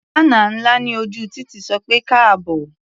Bánà ńlá ní ojú títì sọ pé "káàbọ̀".